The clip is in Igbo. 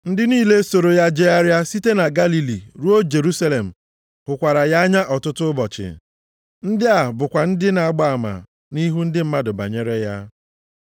Ndị niile soro ya jegharịa site na Galili ruo Jerusalem hụkwara ya anya ọtụtụ ụbọchị. Ndị a bụkwa ndị na-agba ama nʼihu ndị mmadụ banyere ya.